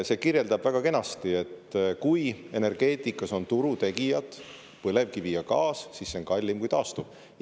See kirjeldab väga kenasti, et kui energeetikas on turutegijad põlevkivi ja gaas, siis see on kallim kui taastuv.